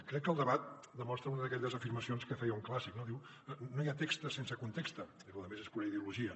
crec que el debat demostra una d’aquelles afirmacions que feia un clàssic no diu no hi ha text sense context i la resta és pura ideologia